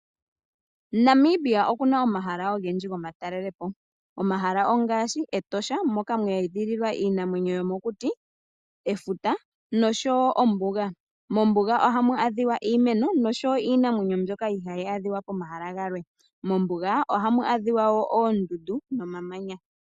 Namibia okuna omahala ogendji gomatalelepo omahala ongaashi Etosha moka mweedhililwa iinamwenyo yomokuti, efuta osho woo ombuga. Mombuga ohamu adhika iimeno nosho woo iinamwenyo mbyoka ihayi adhika pomahala gamwe. Mombuga ohamu adhika woo oondundu nomamanya.